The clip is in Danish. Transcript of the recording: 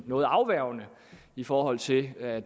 noget afværgende i forhold til at